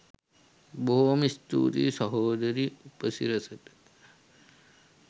බොහෝම ස්තූතියි සහෝදරී උපසිරසට